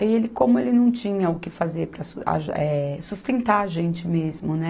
Aí ele, como ele não tinha o que fazer para so, aju, eh sustentar a gente mesmo, né?